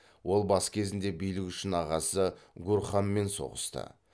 ол бас кезінде билік үшін ағасы гурханмен соғысты